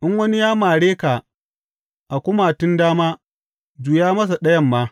In wani ya mare ka a kumatun dama, juya masa ɗayan ma.